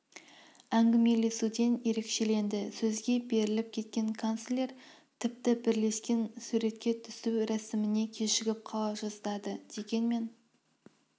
әңгімелесуімен ерекшеленді сөзге беріліп кеткен канцлер тіпті бірлескен суретке түсу рәсіміне кешігіп қала жаздады дегенмен